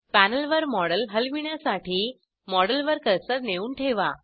पॅनलवर model हलविण्यासाठी model वर cursor नेऊन ठेवा